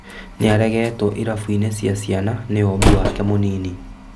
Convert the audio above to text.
Nĩaregetwo irabu-inĩ cia ciana nĩ ũmbi wake mũnini